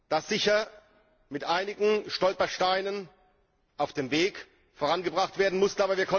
das sicher mit einigen Stolpersteinen auf dem Weg vorangebracht werden musste.